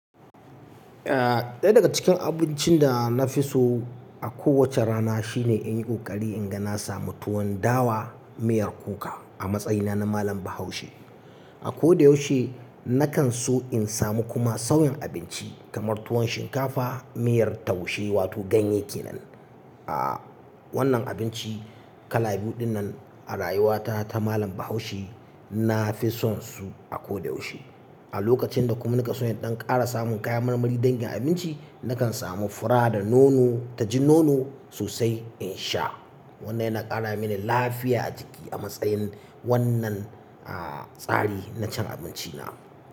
Eh ɗaya daga cikin abincin da na fi so a kowace rana shine in yi ƙoƙari in ga na samu tuwon dawa, miyar kuka a matsayina na malam Bahaushe. A ko da yaushe na kan so in samu kuma sauyin abinci kamar tuwon shinkafa, miyar taushe wato ganye kenan. Aaa wannan abinci kala biyu dinnan a rayuwata ta malam Bahaushe na fi son su a ko da yaushe. A lokacin da kuma na ka so in ɗan ƙara samun kayan marmari dangin abinci, na kan samu fura da nono ta ji nono sosai in sha. Wannan yana ƙara mini lafiya a jiki a matsayin wannan aaa tsari na cin abinci na.